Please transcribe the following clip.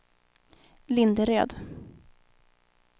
Linderöd